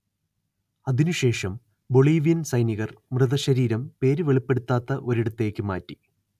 അതിനുശേഷം ബൊളീവിയൻ സൈനികർ മൃതശരീരം പേര് വെളിപ്പെടുത്താത്ത ഒരിടത്തേക്ക് മാറ്റി